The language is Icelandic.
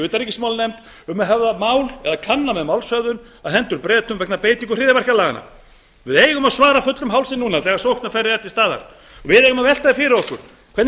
utanríkismálanefnd um að höfða mál eða kanna með málshöfðun á hendur bretum vegna beitingu hryðjuverkalaganna við eigum að svara fullum hálsi núna þegar sóknarfærið er til staðar og við eigum að velta fyrir okkur hvernig